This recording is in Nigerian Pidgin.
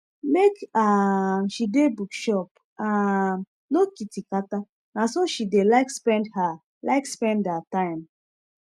make um she dey bookshop um no kitikata nah so she dey like spend her like spend her time